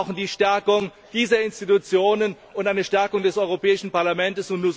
Wir brauchen die Stärkung dieser Institutionen und eine Stärkung des Europäischen Parlaments.